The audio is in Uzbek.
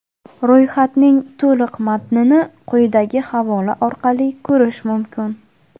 Ro‘yxatning to‘liq matnini quyidagi havola orqali ko‘rish mumkin.